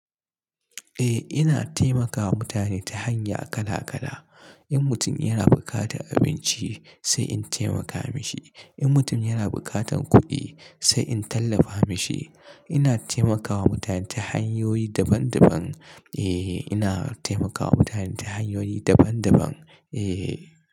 Eh ina taimakawa mutane ta hanya kala kala. In mutum yana bukatar abinci sai in taimaka mashi. In mutum yana buƙatar kuɗi sai in tallafa mashi. Ina taimakawa mutane ta hanyoyi daban daban. Eh ina taimakawa mutane ta hanyoyi daban daban. Eh.